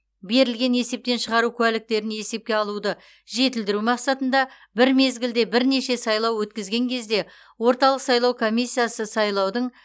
берілген есептен шығару куәліктерін есепке алуды жетілдіру мақсатында бір мезгілде бірнеше сайлау өткізген кезде орталық сайлау комиссиясы сайлаудың